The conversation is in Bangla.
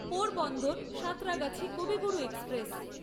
পোরবন্দর সাঁতরাগাছি কবিগুরু এক্সপ্রেস